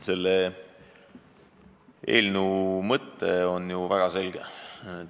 Selle eelnõu mõte on väga selge.